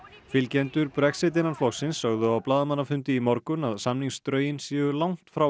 fylgjendur Brexit innan flokksins sögðu á blaðamannafundi í morgun samningsdrögin séu langt frá